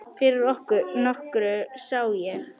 Fyrir nokkru sá ég